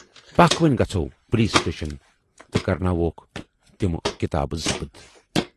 پکھ وُنۍ گَژھو پُلیٖس سٹیٖشن تہٕ کرٕناوہوکھ تِمہٕ کِتابہٕ ضبط۔